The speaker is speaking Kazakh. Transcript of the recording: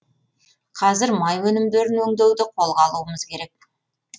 қазір май өнімдерін өңдеуді қолға алуымыз керек